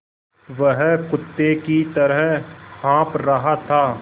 वह कुत्ते की तरह हाँफ़ रहा था